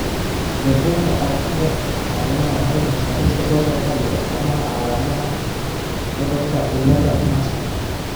The Bugga aragtiyaha aanadanaha waxay bixisaa liiska soo socda ee astamaha iyo calaamadaha cudurkaciladaa Marshall